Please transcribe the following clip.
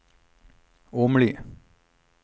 Åmli